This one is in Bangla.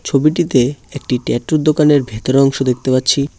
ছবিটিতে একটি ট্যাটুর দোকানের ভেতরের অংশ দেখতে পাচ্ছি।